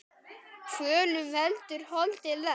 Kvölum veldur holdið lest.